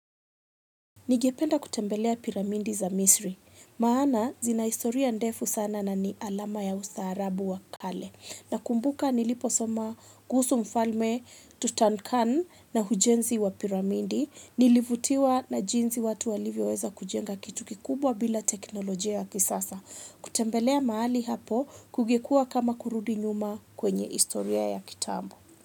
Nigependa kutembelea piramindi za misri, maana zina historia ndefu sana na ni alama ya usatarabu wa kale. Nakumbuka niliposoma kuhusu mfalme Tustan khan na ujenzi wa piramidi, nilivutiwa na jinsi watu walivyo weza kujenga kitu kikubwa bila teknolojia. Kutembelea mahali hapo kungekua kama kurudi nyuma kwenye historia ya kitambo.